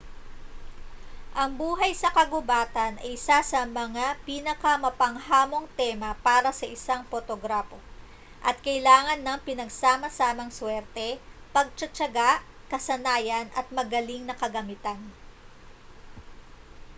ang buhay sa kagubatan ay isa sa mga pinakamapanghamong tema para sa isang potograpo at kailangan ng pinagsama-samang swerte pagtitiyaga kasanayan at magaling na kagamitan